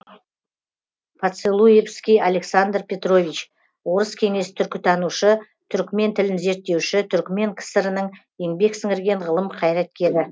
поцелуевский александр петрович орыс кеңес түркітанушы түрікмен тілін зерттеуші түрікмен кср інің еңбек сіңірген ғылым қайраткері